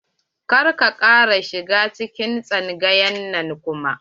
Kar ka kara shiga cikin tsangayar nan kuma.